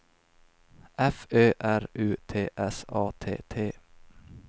F Ö R U T S A T T